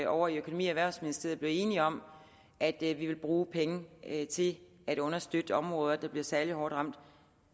ovre i økonomi og erhvervsministeriet blev enige om at vi ville bruge penge til at understøtte områder der blev særlig hårdt ramt